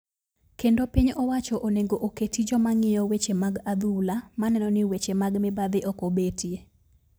Kendo piny owacho onego oketi joma ng'iyo weche mag adhula maneno ni weche mag mibadhi ok obetie.